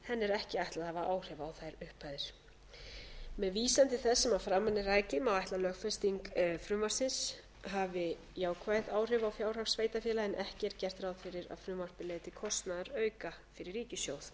ekki ætlað að hafa áhrif á þær upphæðir með vísan til þess sem að framan er rakið má ætla að lögfesting frumvarpsins hafi jákvæð áhrif á fjárhag sveitarfélaga en ekki er gert ráð fyrir að frumvarpið leiði til kostnaðarauka fyrir ríkissjóð